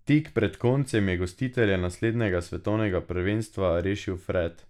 Tik pred koncem je gostitelje naslednjega svetovnega prvenstva rešil Fred.